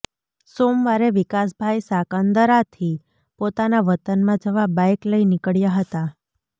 સોમવારે વિકાસભાઇ સાંકરદાથી પોતાના વતનમાં જવા બાઇક લઇ નીકળ્યા હતા